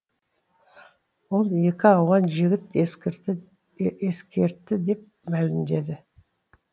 ол екі ауған жігіт ескертті деп мәлімдеді